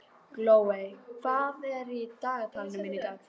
Glóey, hvað er í dagatalinu mínu í dag?